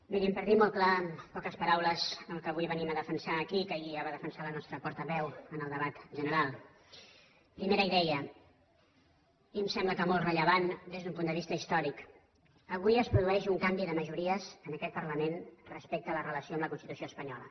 mirin per dir ho molt clar en poques paraules el que avui venim a defensar aquí que ahir ja va defensar la nostra portaveu en el debat general la primera idea i em sembla que molt rellevant des d’un punt de vista històric avui es produeix un canvi de majories en aquest parlament respecte a la relació amb la constitució espanyola